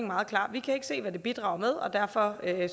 meget klar vi kan ikke se hvad det bidrager med og derfor